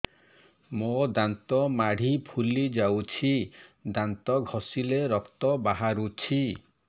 ମୋ ଦାନ୍ତ ମାଢି ଫୁଲି ଯାଉଛି ଦାନ୍ତ ଘଷିଲେ ରକ୍ତ ବାହାରୁଛି